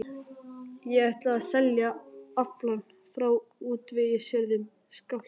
Ég ætla mér að selja aflann frá útvegsjörðum Skálholts.